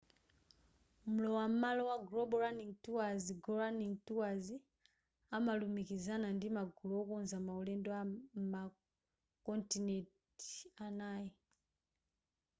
mlowa malo wa global running tours go running tours amalumikizana ndi magulu okonza ma ulendo m'ma kontinenti anayi